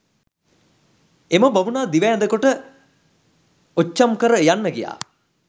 එම බමුණා දිව ඇඳකොට ඔච්චම් කර යන්න ගියා.